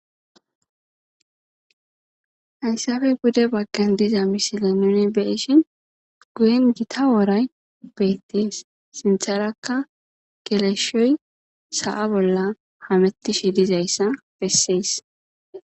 Haysappe pude bagan diza misilen nuni beyoshin guyen Gita woray beetes sintharaka geleshoy sa'a bolla hamutishe dizaysa besses.